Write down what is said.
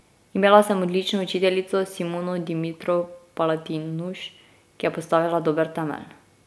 Imela sem odlično učiteljico Simono Dimitrov Palatinuš, ki je postavila dober temelj.